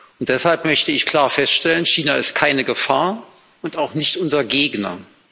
Und deshalb möchte ich klar feststellen China ist keine Gefahr und auch nicht unser Gegner.